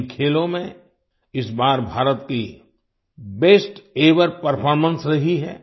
इन खेलों में इस बार भारत की बेस्ट एवर परफॉर्मेंस रही है